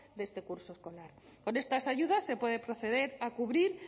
de este curso escolar con estas ayudas se puede proceder a cubrir